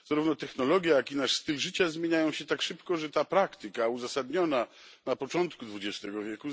Zarówno technologie, jak i nasz styl życia zmieniają się tak szybko, że ta praktyka, uzasadniona na początku XX w.,